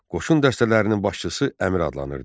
Qoşun dəstələrinin başçısı Əmir adlanırdı.